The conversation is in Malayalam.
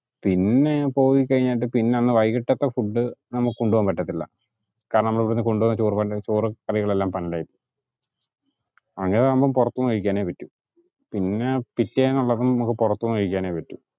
പിന്നെ പോയി കഴിഞ്ഞിട്ട് പിന്നെ അന്ന് വൈകിട്ടത്തെ food നമുക്ക് കൊണ്ടുപോകാൻ പറ്റത്തില്ല കാരണം നമ്മളിവുടുന്നു കൊണ്ടുപോകുന്ന ചോറും കറികളും എല്ലാം പന്നൽ ആയി പോവും. അങ്ങിനെ വരുമ്പോ പൊറത്തൂന്നു കഴിക്കാനെ പറ്റു. പിന്നെ പിറ്റേന്നുള്ളതും നമുക്ക് പുറത്തുന്നു കഴിക്കാൻ പറ്റൂ